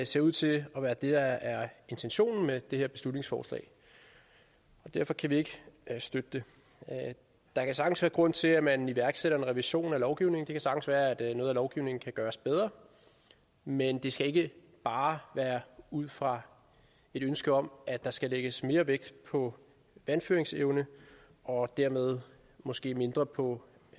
ser ud til at være det der er intentionen med det her beslutningsforslag og derfor kan vi ikke støtte det der kan sagtens være grund til at man iværksætter en revision af lovgivningen det kan sagtens være at noget af lovgivningen kan gøres bedre men det skal ikke bare være ud fra et ønske om at der skal lægges mere vægt på vandføringsevne og dermed måske mindre på